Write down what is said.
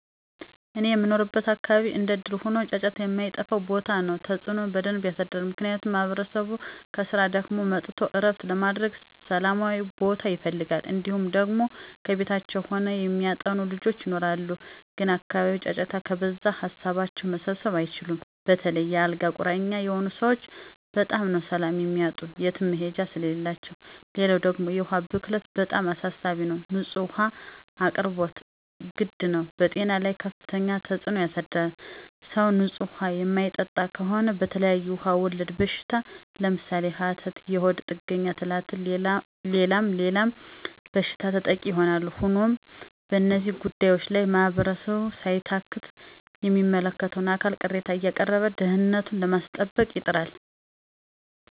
እኔ በምኖርበት አካባቢ እንደእድል ሆኖ ጫጫታ የማይጠፍው ቦታ ነው። ተፅዕኖ በደንብ የሳድራል። ምክንያቱም ማህበረሰቡ ከስራ ደክሞት መጥቶ ዕረፍት ለማድረግ ሠላማዊ ቦታ ይፈልጋል። እንዲሁም ደግሞ ከቤታቸው ሆነው የሚያጠኑ ልጆች ይኖራሉ ግን አካባቢው ጫጫታ ከበዛበት ሀሳባቸውን መሰብሰብ አይችሉም. በተለይ የ አልጋ ቁራኛ የሆኑ ሰወች በጣም ነው ሰላም የሚያጡ የትም መሄጃ ስለሌላቸው። ሌላው ደግሞ የውሀ ብክለት በጣም አሳሳቢ ነው። ንፁህ ውሀ አቅርቦት ግድ ነው። በጤና ላይ ከፍተኛ ተፅዕኖ ያሳድራል .ሰው ንፁህ ውሀ የማይጠጣ ከሆነ በተለያዬ ውሀ ወለድ በሽታ ለምሳሌ፦ ሀተት፣ የሆድ ጥገኛ ትላትል ሌላም ሌላም በሽታ ተጠቂ ይሆናሉ። ሆኖም በእነዚህ ጉዳዮች ላይ ማህበረሰቡ ሳይታክት ለሚመለከተው አካል ቅሬታ አያቀረበ ደህንነቱኑ ለማስጠበቅ ይጥራል።